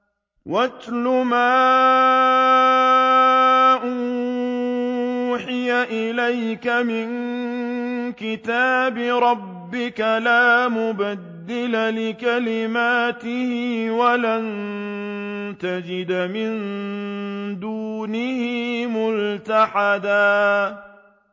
وَاتْلُ مَا أُوحِيَ إِلَيْكَ مِن كِتَابِ رَبِّكَ ۖ لَا مُبَدِّلَ لِكَلِمَاتِهِ وَلَن تَجِدَ مِن دُونِهِ مُلْتَحَدًا